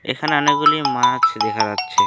এখানে অনেকগুলি মাছ দেখা যাচ্ছে।